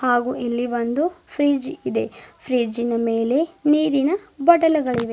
ಹಾಗು ಇಲ್ಲಿ ಒಂದು ಫ್ರಿಡ್ಜ್ ಇದೆ ಫ್ರಿಡ್ಜಿನ ಮೇಲೆ ನೀರನ ಬಾಟಲುಗಳಿವೆ.